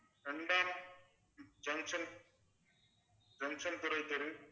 இரண்டாம் junction junction துரைத்தெரு